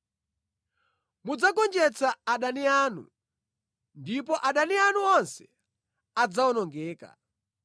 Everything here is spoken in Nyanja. Mudzagonjetsa adani anu, ndipo adani anu onse adzawonongeka.